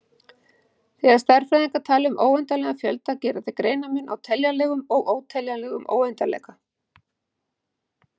Þegar stærðfræðingar tala um óendanlegan fjölda gera þeir greinarmun á teljanlegum- og óteljanlegum óendanleika.